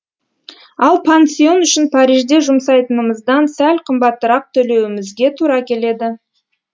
ал пансион үшін парижде жұмсайтынымыздан сәл қымбатырақ төлеуімізге тура келеді